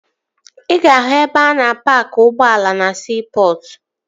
Ị ga-ahụ ebe a na-paaki ụgbọ ala na siipọtụ